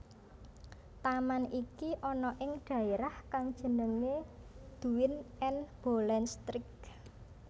Taman iki ana ing dhaerah kang jenenge Duin en Bollenstreek